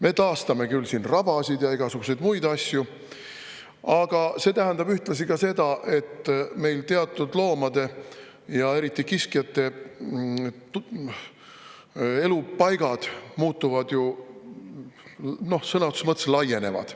Me taastame küll rabasid ja igasuguseid muid asju, aga see tähendab ühtlasi seda, et meil teatud loomade, eriti kiskjate elupaigad sõna otseses mõttes laienevad.